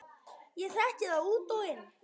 Ég þekki það út og inn.